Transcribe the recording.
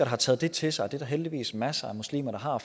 har taget det til sig og det er der heldigvis masser af muslimer der har og